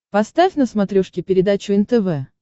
поставь на смотрешке передачу нтв